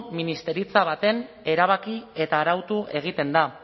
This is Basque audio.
ministeritza batean erabaki eta arautu egiten da